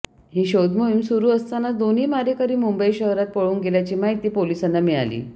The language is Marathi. ही शोधमोहीम सुरू असतानाच दोन्ही मारेकरी मुंबई शहरात पळून गेल्याची माहिती पोलिसांना मिळाली